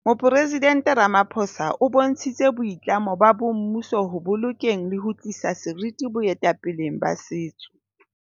Moporesident Ramapho sa o bontshitse boitlamo ba mmuso ho bolokeng le ho tliseng seriti boetapeleng ba setso.